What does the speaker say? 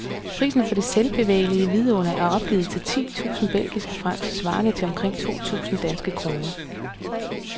Prisen for det selvbevægelige vidunder er opgivet til ti tusinde belgiske franc, svarende til omkring to tusinde danske kroner.